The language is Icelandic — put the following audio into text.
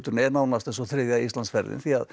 er nánast eins og þriðja Íslandsferðin því